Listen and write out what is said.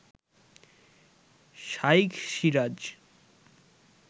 Shaikh Siraj